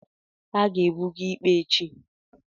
a ga-ebuga ikpe echi